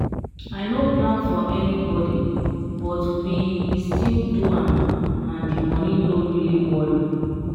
i no plan for anybody but we we still do am and the money no really worry.